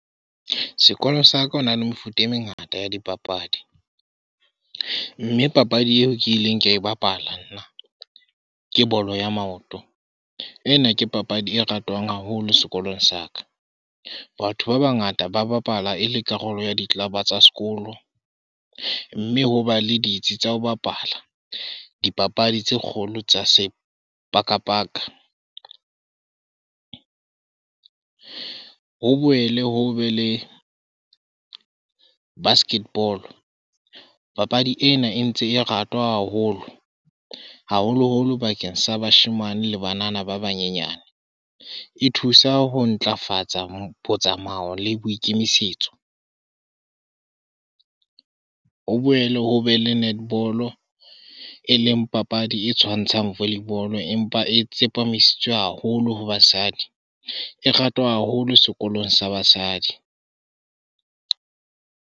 Sekolo sa ka ho na le mefuta e mengata ya dipapadi, mme papadi eo ke ileng ka e bapala nna ke bolo ya maoto. Ena ke papadi e ratwang haholo sekolong sa ka. Batho ba bangata ba bapala e le karolo ya di-club-a tsa sekolo, mme ho ba le ditsi tsa ho bapala dipapadi tse kgolo tsa sepakapaka. Ho boele ho be le basket ball, papadi ena e ntse e ratwa haholo, haholoholo bakeng sa bashemane le banana ba banyenyane, e thusa ho ntlafatsa botsamaya le boikemisetso. Ho boele ho be le netball-o eleng papadi e tshwantshang volley ball-o empa e tsepamisitswe haholo ho basadi, e ratwa haholo sekolong sa basadi.